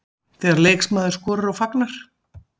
Þegar leikmaður skorar og fagnar.